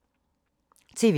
TV 2